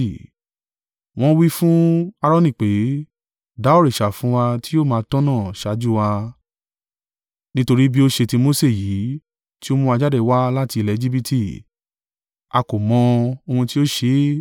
Wọ́n wí fún Aaroni pé, ‘Dá òrìṣà fún wa tí yóò máa tọ́nà ṣáájú wa; nítorí bí ó ṣe ti Mose yìí tí ó mú wa jáde wá láti ilẹ̀ Ejibiti, a kò mọ̀ ohun tí ó ṣe é.’